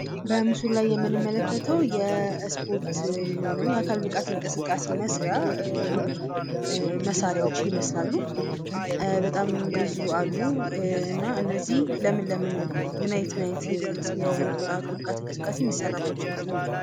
በምስሉ ላይ የምንመለከተው የእስፖርት ወይም የአካል ብቃት እንቅስቃሴ መስሪያ መሣሪያዎች ይመስላሉ በጣም ብዙ አሉ እና እነዚህ ለምን ለምን ምን አይነት ምን አይነት የአካል ብቃት እንቅስቃሴ የሚሰራባቸው ይመስላቸዋል?